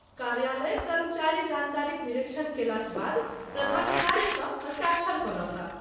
कार्यालयक कर्मचारी जानकारीक निरीक्षण कयलाक बाद प्रधानाचार्यसँ हस्ताक्षर करौताह।